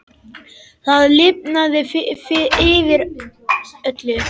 Það lifnaði yfir öllu.